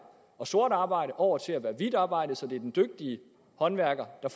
og sort arbejde over til at være hvidt arbejde så det er den dygtige håndværker der